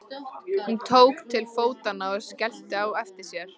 Hún tók til fótanna og skellti á eftir sér.